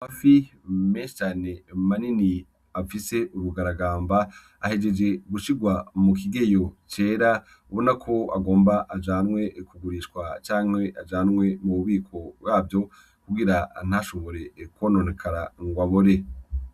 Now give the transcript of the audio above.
Amafi meshi cane manini afise ubugaragamba, ahejeje gushirwa mukigeyo cera ubona ko agomba ajanwe kugurishwa canke ajanwe mu bubiko bwavyo kugira ntashobore kwononekara ngo abore.